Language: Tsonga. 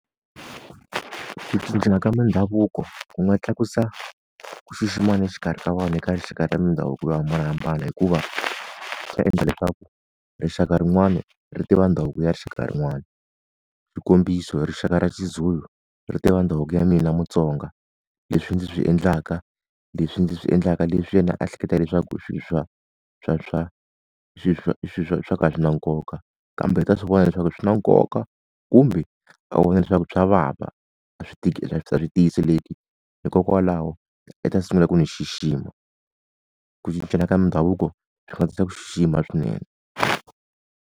ku cincana ka mindhavuko ku nga tlakusa ku xiximana exikarhi ka vanhu eka rixaka ra mindhavuko yo hambanahambana hikuva, swi ta endla leswaku rixaka rin'wana ri tiva ndhavuko ya rixaka rin'wana. Xikombiso hi rixaka ra xiZulu ri ta va ndhavuko ya mina muTsonga. Leswi ndzi swi endlaka, leswi ndzi swi endlaka leswi yena a hleketa leswaku i swa swa swa i swa swi na nkoka. Kambe i ta swi vona leswaku swi na nkoka kumbe a vona leswaku swa vava, a swi a swi tiyiseleki hikokwalaho i ta sungula ku ni xixima. Ku cincana ka mindhavuko nga tisa ku xixima swinene.